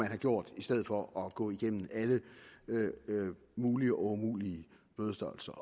have gjort i stedet for at gå alle mulige og umulige bødestørrelser